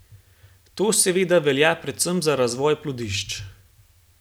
To seveda velja predvsem za razvoj plodišč.